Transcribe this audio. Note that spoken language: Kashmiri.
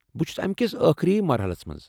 بہٕ چھس امہ کس ٲخری مرحلس منز ۔